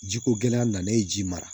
Jiko gɛlɛya nalen ji mara